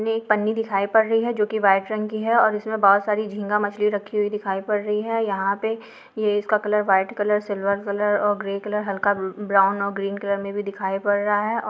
मे एक पन्नी दिखाई पड़ रही है जो की व्हाइट रंग की है और इसमे बहोत सारी झींगा मछली रखी हुई दिखाई पड़ रही है यहां पे ये इसका colour white colour silver colour और ग्रे कलर हल्का उम्म ब्राउन और ग्रीन कल्लर मे भी दिखाई पड़ रहा है ओ --